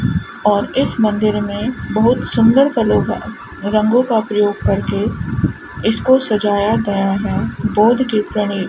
और इस मंदिर में बहुत सुंदर कलर का रंगों का प्रयोग करके इसको सजाया गया है बोर्ड के